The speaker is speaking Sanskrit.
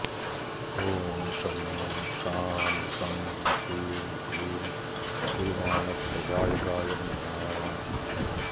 ॐ शं शां षं ह्रीं क्लीं गुरुमानप्रदायकाय नमः